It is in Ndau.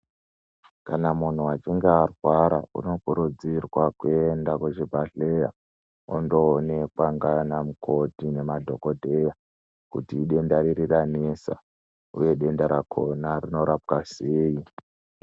Kana munhu echinge arwara unokurudzirwa kwenda kuzvibhedhleya ondoonekwa nana mukoti nemadhokodheya kuti idenda riri ranesa uye kuti denda rakhona rinorapwa sei.